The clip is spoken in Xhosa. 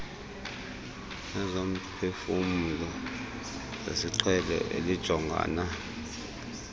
nezomphefumlo zesiqhelo elijongana